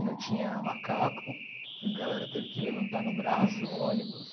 e não tinha macaco, a galera teve que levantar no braço o ônibus.